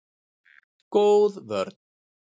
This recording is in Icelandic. Góð vörn.